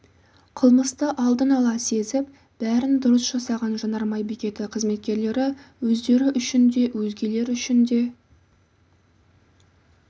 қылмысты алдын ала сезіп бәрін дұрыс жасаған жанармай бекеті қызметкерлері өздері үшін де өзгелер үшін де